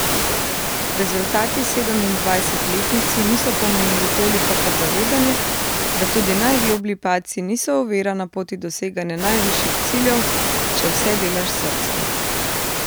Rezultati sedemindvajsetletnici niso pomenili toliko kot zavedanje, da tudi najgloblji padci niso ovira na poti doseganja najvišjih ciljev, če vse delaš s srcem.